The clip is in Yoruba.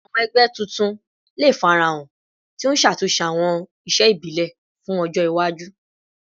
Awọn ẹgbẹ tuntun le farahan, ti n ṣatunṣe awọn iṣe ibile fun ọjọ iwaju